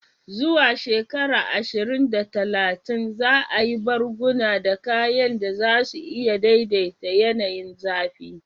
Zuwa shekara ashirin da talatin, za a yi barguna da kayan da za su iya daidaita yanayin zafi.